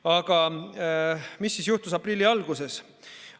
Aga mis siis juhtus aprilli alguses?